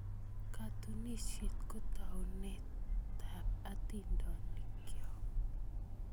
Katunisyet ko taunetab atindoniikyo.